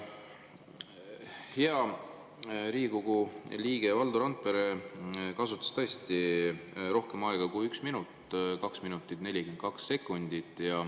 Hea Riigikogu liige Valdo Randpere kasutas tõesti rohkem aega kui 1 minut: 2 minutit ja 42 sekundit.